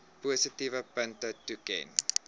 positiewe punte toeken